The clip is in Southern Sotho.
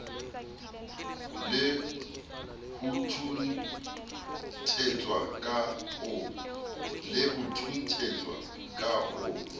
le ho thunthetswa ka ho